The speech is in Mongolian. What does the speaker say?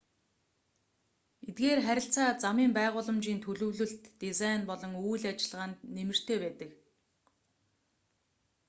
эдгээр харилцаа замын байгууламжийн төлөвлөлт дизайн болон үйл ажиллагаанд нэмэртэй байдаг